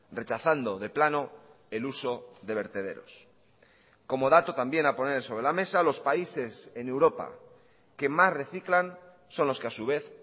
rechazando de plano el uso de vertederos como dato también a poner sobre la mesa los países en europa que más reciclan son los que a su vez